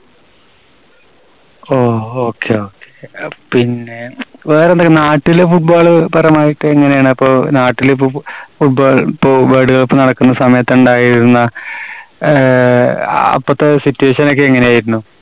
ഓ okay, okay. പിന്നെ വേറെന്താ നാട്ടില് football പരമായിട്ട് എങ്ങനെയാണ്? അപ്പോ നാട്ടില് football ഇപ്പോ വേൾഡ് കപ്പ് നടക്കുന്ന സമയത്ത് ഉണ്ടായിരുന്ന ആഹ് അപ്പോഴത്തെ situation ഒക്കെ എങ്ങനെയായിരുന്നു?